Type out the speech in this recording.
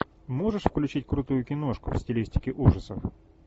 можешь включить крутую киношку в стилистике ужасов